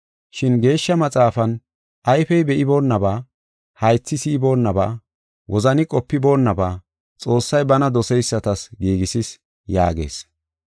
Shin Geeshsha Maxaafan, “Ayfey be7iboonaba, haythi si7iboonaba, wozani qopiboonnaba, Xoossay bana doseysatas giigisis” yaagees.